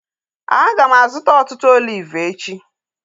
Aga m azụta ọtụtụ oliv echi